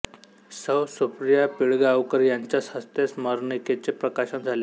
सौ सुप्रिया पिळगावकर यांच्या हस्ते स्मरणिकेचे प्रकाशन झाले